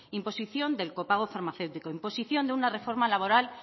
imposición del copago farmacéutico imposición de una reforma laboral